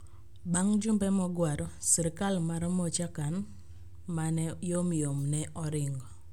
Bang ' jumbe mogwaro, sirkal mar Michoacan ma ne yomyom ne oringo.